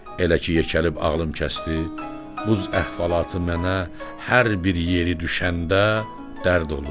Elə ki yekəlib ağlım kəsdi, buz əhvalatı mənə hər bir yeri düşəndə dərd olur.